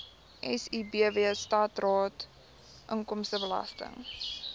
sibw standaard inkomstebelasting